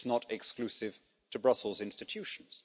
it's not exclusive to Brussels institutions.